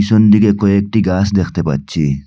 ডানদিকে কয়েকটি গাছ দেখতে পাচ্ছি।